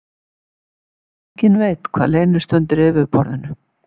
Enginn veit hvað leynist undir yfirborðinu